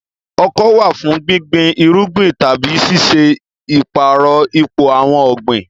Ọkọ́ wà fún gbígbin irúgbìn tàbí ṣíṣe ìpààrọ̀ ipò àwọn ọ̀gbìn.